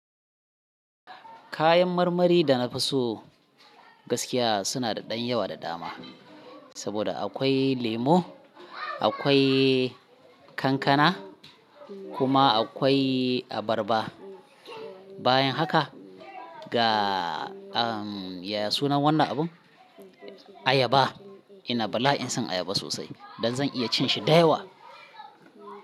Kayan marmari da na fi so gaskiya suna da ɗan yawa da dama. Saboda akwai lemo, akwai kankana kuma akwai abarba. Bayan haka ga, ah, ya sunan wannan abun? Ayaba. Ina bala'in son ayaba sosai. Dan zan iya cin shi da yawa.